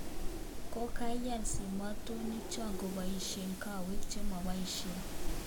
KaKayan simatonik chon kopaishen kawek chemapaishen